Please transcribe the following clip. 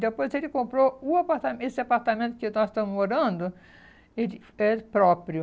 Depois ele comprou o apartamen esse apartamento que nós estamos morando, ele ele próprio.